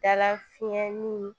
Dala fiyɛli